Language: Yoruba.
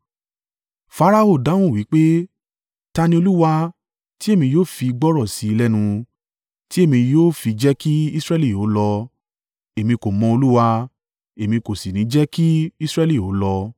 Farao dáhùn wí pé, “Ta ni Olúwa, tí èmi yóò fi gbọ́rọ̀ sí i lẹ́nu, tí èmi yóò fi jẹ́ kí Israẹli ó lọ? Èmi kò mọ Olúwa, èmi kò sì ní jẹ́ kí Israẹli ó lọ.”